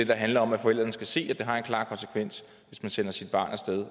der handler om at forældrene skal se at det har en klar konsekvens hvis man sender sit barn af sted